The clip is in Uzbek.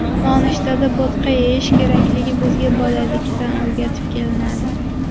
Nonushtada bo‘tqa yeyish kerakligi bizga bolalikdan o‘rgatib kelinadi.